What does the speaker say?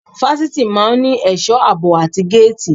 Fásitì máa ń ní ẹ̀sọ́ àbò àti géètì.